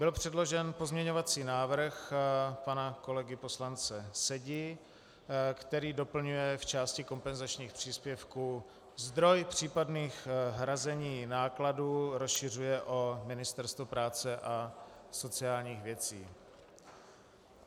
Byl předložen pozměňovací návrh pana kolegy poslance Sedi, který doplňuje v části kompenzačních příspěvků - zdroj případných hrazení nákladů rozšiřuje o Ministerstvo práce a sociálních věcí.